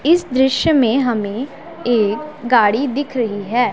इस दृश्य में हमें एक गाड़ी दिख रही है।